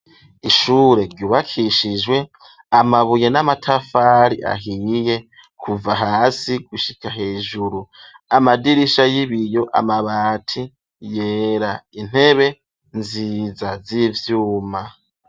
Ishure ryubakishijwe amabuye n'amatafari ahiye kuva hasi gushika hejuru amadirisha y'ibiyo amabati yera intebe nziza zivyuma.